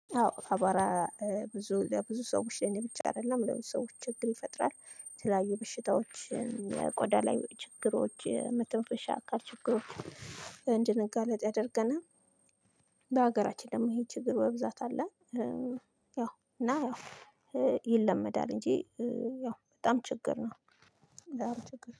አዎ አቧራ ብዙ ለብዙ ሰዎች ላይ ብቻ አይደለም ለምን ሰዎች ችግር ይፈጥራል ተለያዩ በሽታዎች ቆዳ ላይ ችግሮች መተንፈሻ አካል ችግሮች እንድንጋለጥ ያደርገናል። በሀገራችን ደግሞ ብዙ ችግር በብዛት አለ። ያው እና ያው ይለመዳል እንጂ ያው በጣም ችግር ነው።